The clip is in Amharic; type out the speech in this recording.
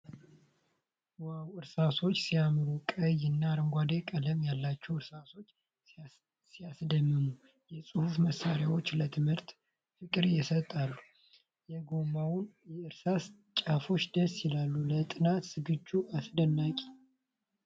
ዋው! እርሳሶች ሲያምሩ! ቀይ እና አረንጓዴ ቀለም ያላቸው እርሳሶች ሲያስደምሙ ። የፅሁፍ መሳሪያዎች ለትምህርት ፍቅርን ይሰጣሉ። የጎማውንና የእርሳሱን ጫፎች ደስ ይላሉ። ለጥናት ዝግጅት አስደናቂ!